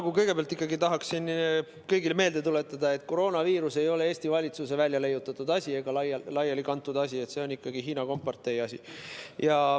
Ma kõigepealt tahan kõigile meelde tuletada, et koroonaviirus ei ole Eesti valitsuse leiutatud ega laialikantud asi, see on ikkagi Hiina kompartei asi.